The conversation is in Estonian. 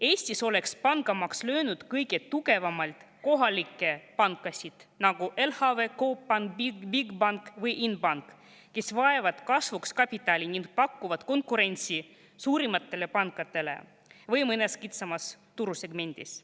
Eestis oleks pangamaks kõige tugevamalt löönud kohalikke pankasid, nagu LHV, Coop Pank, Bigbank või Inbank, kes vajavad kasvuks kapitali ning pakuvad konkurentsi kas suurematele pankadele või siis mõnes kitsamas turusegmendis.